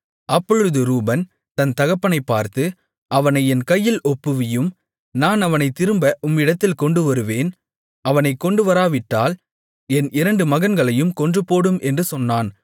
அப்பொழுது ரூபன் தன் தகப்பனைப் பார்த்து அவனை என் கையில் ஒப்புவியும் நான் அவனைத் திரும்ப உம்மிடத்தில் கொண்டுவருவேன் அவனைக் கொண்டுவராவிட்டால் என் இரண்டு மகன்களையும் கொன்றுபோடும் என்று சொன்னான்